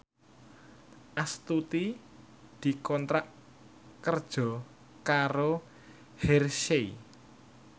Astuti dikontrak kerja karo Hershey